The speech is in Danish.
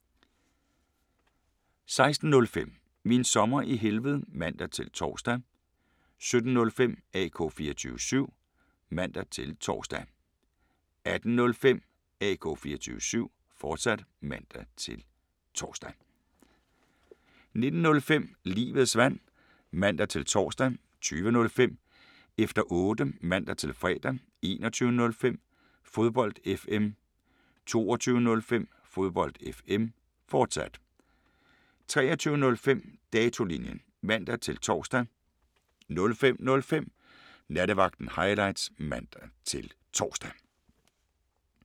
16:05: Min Sommer i Helved (man-tor) 17:05: AK 24syv (man-tor) 18:05: AK 24syv, fortsat (man-tor) 19:05: Livets Vand (man-tor) 20:05: Efter Otte (man-fre) 21:05: Fodbold FM 22:05: Fodbold FM, fortsat 23:05: Datolinjen (man-tor) 05:05: Nattevagten Highlights (man-tor)